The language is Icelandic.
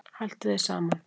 Haltu þér saman